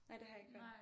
Nej det har jeg ikke hørt